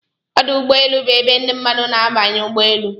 Ọdụ ụgbọelu bụ ebe ndị mmadụ na-abanye ụgbọ elu